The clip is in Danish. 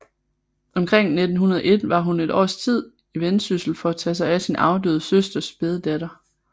Omkring 1901 var hun et års tid i Vendsyssel for at tage sig af sin afdøde søsters spæde datter